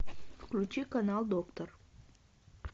включи канал доктор